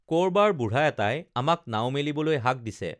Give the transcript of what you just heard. কৰবাৰ বুঢ়া এটাই আমাক নাও মেলিবলৈ হাক দিছে